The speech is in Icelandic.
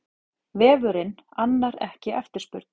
Vefurinn annar ekki eftirspurn